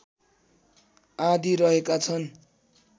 आदि रहेका छन्